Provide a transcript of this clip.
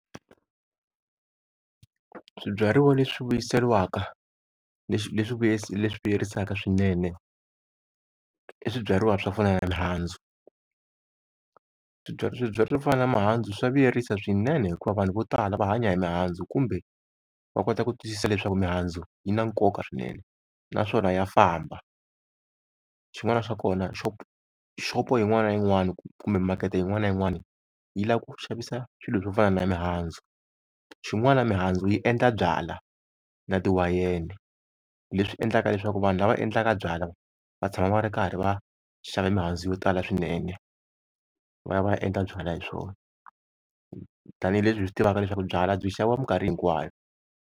Swibyariwa leswi vuyiseriwaka, leswi leswi vuyerisaka swinene i swibyariwa swo fana na mihandzu. Swibyariwa swibyariwa swo fana na mihandzu swa vuyerisa swinene, hikuva vanhu vo tala va hanya hi mihandzu kumbe va kota ku twisisa leswaku mihandzu yi na nkoka swinene naswona ya famba. Xin'wana xa kona xopo yin'wana na yin'wana kumbe makete yin'wana na yin'wana yi lava ku xavisa swilo swo fana na mihandzu. Xin'wana mihandzu yi endla byala na ti wayeni, leswi endlaka leswaku vanhu lava endlaka byala va tshama va ri karhi va xava mihandzu yo tala swinene va ya va ya endla byala hi swona, tanihileswi hi swi tivaka leswaku byala byi xaviwa mikarhi hinkwayo.